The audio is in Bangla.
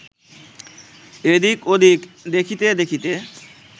এদিক্ ওদিক্ দেখিতে দেখিতে